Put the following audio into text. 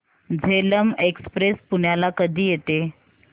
Jhelum express पुण्याला कधी येते